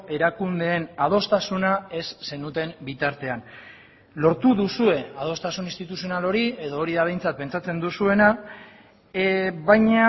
erakundeen adostasuna ez zenuten bitartean lortu duzue adostasun instituzional hori edo hori da behintzat pentsatzen duzuena baina